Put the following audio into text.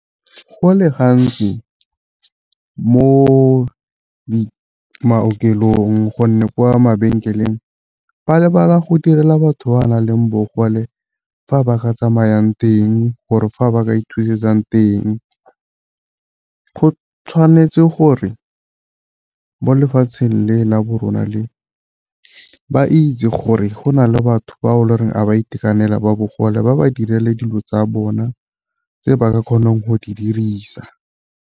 Go le gantsi mo maokelong gonne ko mabenkeleng ba lebala go direla batho ba ba nang le bogole fa ba ka tsamayang teng gore fa ba ka ithusetsang teng. Go tshwanetse gore mo lefatsheng le la bo rona le, ba itse gore go na le batho ba e Leng gore a ba itekanela ba bogole ba ba direle dilo tsa bona tse ba ka kgonang go di dirisa.